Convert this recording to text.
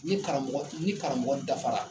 N karamɔgɔ ni karamɔgɔ dafara